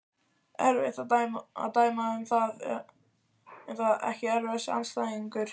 Erfitt að dæma um það Ekki erfiðasti andstæðingur?